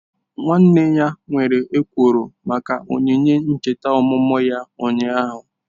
Nwanne ya nwere ekworo maka onyinye ncheta ọmụmụ ya ụnyahụ.